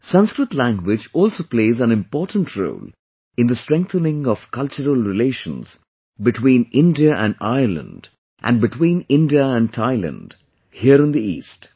Sanskrit language also plays an important role in the strengthening of cultural relations between India and Ireland and between India and Thailand here in the east